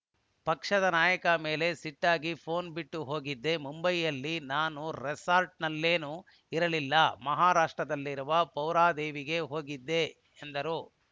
ಪಕ್ಷದ ನಾಯಕರ ಮೇಲೆ ಸಿಟ್ಟಾಗಿ ಫೋನ್‌ ಬಿಟ್ಟು ಹೋಗಿದ್ದೆ ಮುಂಬೈನಲ್ಲಿ ನಾನು ರೆಸಾರ್ಟ್‌ನಲ್ಲೇನೂ ಇರಲಿಲ್ಲ ಮಹಾರಾಷ್ಟ್ರದಲ್ಲಿರುವ ಪೌರಾದೇವಿಗೆ ಹೋಗಿದ್ದೆ ಎಂದರು